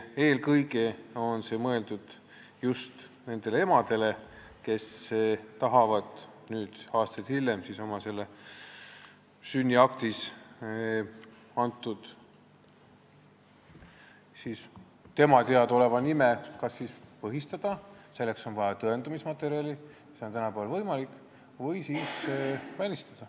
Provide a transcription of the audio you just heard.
Eelkõige on see muidugi mõeldud nendele emadele, kes tahavad nüüd, aastaid hiljem, selle sünniakti kantud ja temale teadaoleva nime kas põhistada – selleks on vaja tõendamismaterjali, mida on tänapäeval võimalik saada – või siis välistada.